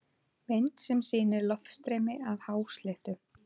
Mynd sem sýnir loftstreymi af hásléttu.